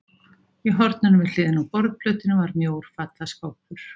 Í horninu við hliðina á borðplötunni var mjór fataskápur.